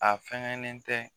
A fɛngɛnen tɛ